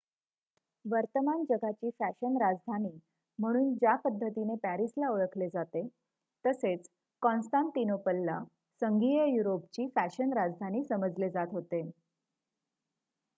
वर्तमान जगाची फॅशन राजधानी म्हणून ज्या पद्धतीने पॅरिसला ओळखले जाते तसे काँस्तानतिनोपलला संघीय युरोपची फॅशन राजधानी समजले जात होते